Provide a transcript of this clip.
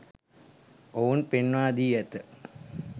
ඔවුන් පෙන්වා දී ඇත.